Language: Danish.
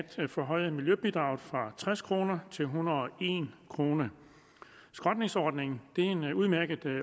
forhøje miljøbidraget fra tres kroner til en hundrede og en kroner skrotningsordningen er en udmærket